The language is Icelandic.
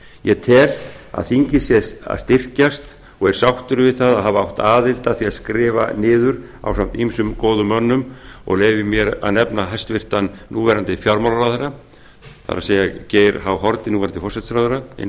ég tel að þingið sé að styrkjast og er sáttur við það að hafa átt aðild að því að skrifa niður ásamt ýmsum góðum mönnum ég leyfi mér að nefna hæstvirtur núverandi fjármálaráðherra það er geir h haarde núverandi